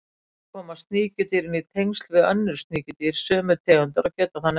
Þannig komast sníkjudýrin í tengsl við önnur sníkjudýr sömu tegundar og geta þannig æxlast.